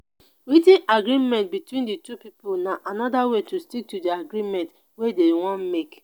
writ ten agreement between di two pipo na anoda way to stick to di agreement wey dem wan make